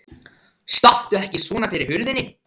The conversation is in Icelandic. Stattu ekki svona fyrir hurðinni!